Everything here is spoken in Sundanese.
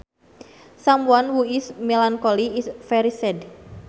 Someone who is melancholy is very sad